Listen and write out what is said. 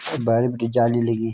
भैरी बटी जाली लगीं।